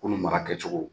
Ko nin mara kɛcogo